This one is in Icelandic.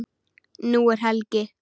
Nú er helgi.